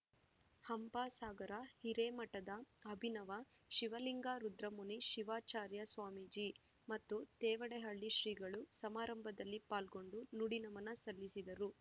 ಹಂಪಸಾಗರ ಹಿರೇಮಠದ ಅಭಿನವ ಶಿವಲಿಂಗ ರುದ್ರಮುನಿ ಶಿವಾಚಾರ್ಯ ಸ್ವಾಮೀಜಿ ಮತ್ತು ತೇವಡೆಹಳ್ಳಿ ಶ್ರೀಗಳು ಸಮಾರಂಭದಲ್ಲಿ ಪಾಲ್ಗೊಂಡು ನುಡಿ ನಮನ ಸಲ್ಲಿಸಿದರು